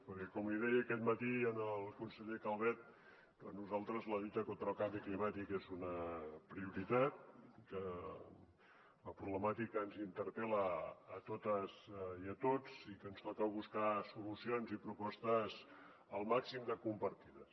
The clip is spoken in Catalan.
perquè com li deia aquest matí al conseller calvet per nosaltres la lluita contra el canvi climàtic és una prioritat que la problemàtica ens interpel·la a totes i a tots i que ens toca buscar solucions i propostes el màxim de compartides